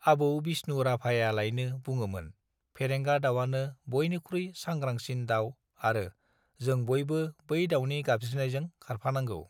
आबौ बिष्णु राभायालायनो बुङोमोन फेरेंगा दाववानो बयनिख्रुइ सांग्रांसिन दाव आरो जों बयबो बै दावनि गाबज्रिनायजों खारफानांगौ